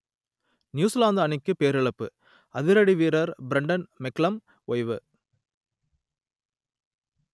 New Zealand அணிக்கு பேரிழப்பு அதிரடி வீரர் பிரண்டன் மெக்கல்லம் ஓய்வு